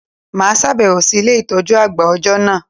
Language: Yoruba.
Mà á sàbẹ̀wò sí Ilé ìtójú àgbà òjọ́ nà